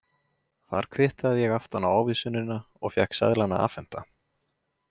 Þar kvittaði ég aftan á ávísunina og fékk seðlana afhenta.